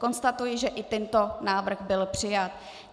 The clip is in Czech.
Konstatuji, že i tento návrh byl přijat.